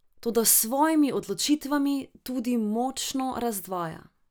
Toda s svojimi odločitvami tudi močno razdvaja.